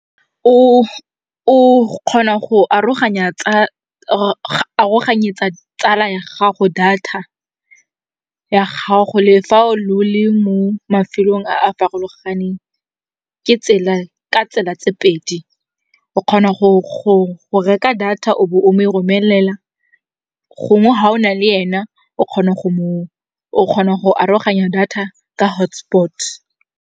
O kgona go aroganyetsa tsala ya gago data ya gago le fa lo le mo mafelong a a farologaneng ka tsela tse pedi. O kgona go reka data o bo o mo e romelela gongwe ga o nale yena, o kgona go aroganya data ka hotspot.